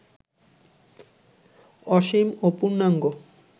অসীম ও পূর্ণাঙ্গ